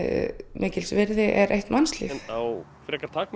mikils virði er eitt mannslíf